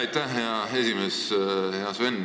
Aitäh, hea esimees!